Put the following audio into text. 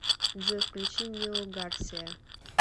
джой включи нио гарсия